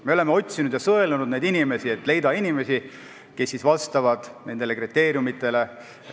Me oleme otsinud ja sõelunud, et leida inimesi, kes vastavad nendele kriteeriumidele.